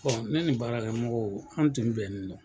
Bɔn ne ni baarakɛmɔgɔw an tin be ɲɔgɔn na